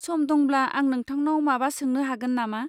सम दंब्ला, आं नोंथांनाव माबा सोंनो हागोन नामा?